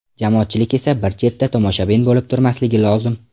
Jamoatchilik esa bir chetda tomoshabin bo‘lib turmasligi lozim”.